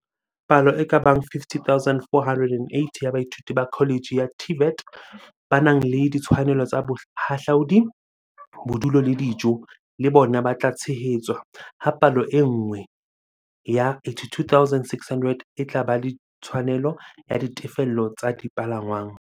Palo e ka bang 50 480 ya baithuti ba kholetjhe ya TVET, ba nang le ditshwanelo tsa bohahlaudi, bodulo le dijo, le bona ba tla tshehetswa, ha palo e nngwe ya 82 600 e tla ba le tshwanelo ya ditefello tsa dipalangwang.